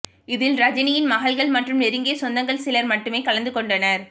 இதில் ரஜினியின் மகள்கள் மற்றும் நெருங்கிய சொந்தங்கள் சிலர் மட்டுமே கலந்து கொண்டனர்